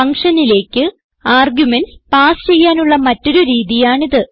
ഫങ്ഷനിലേക്ക് arguments pass ചെയ്യാനുള്ള മറ്റൊരു രീതിയാണിത്